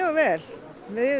vel við